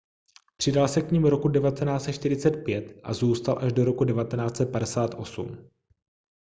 přidal se k nim roku 1945 a zůstal až do roku 1958